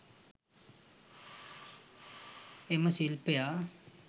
එම ශිල්පියා